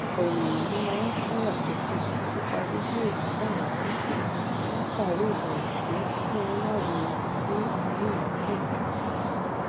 ọpọ ènìyàn máa n káyàsókè nípa bíbéèrè fún ẹyáwó látàrí ìbẹrù pé kí wọn má rí wọn bí onínàákúná